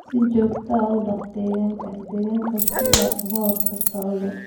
Si joogto ah u dhaq digaagga digaagga si aad uga hortagto cudur.